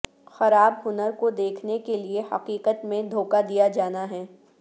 خراب ہنر کو دیکھنے کے لئے حقیقت میں دھوکہ دیا جانا ہے